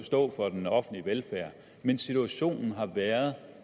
stå for den offentlige velfærd men situationen har været